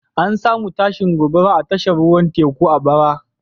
An samu tashin gobara a tashar ruwan teku a bara.